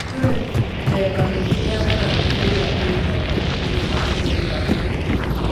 Kwĩ mĩthemba mĩingi ya managu ĩrĩa ĩrĩmagwo thĩiniĩ wa bũrũri wa Kenya.